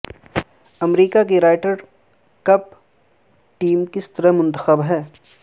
امریکہ کی Ryder cup team کس طرح منتخب ہے